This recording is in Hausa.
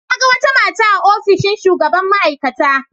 Na ga wata mata a ofishin shugaban ma'aikata.